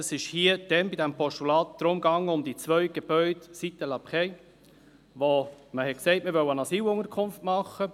Bei diesem Postulat ging es um die beiden Gebäude Site de la Praye, wo man sagte, man wolle eine Asylunterkunft einrichten.